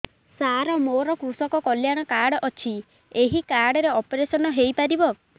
ସାର ମୋର କୃଷକ କଲ୍ୟାଣ କାର୍ଡ ଅଛି ଏହି କାର୍ଡ ରେ ଅପେରସନ ହେଇପାରିବ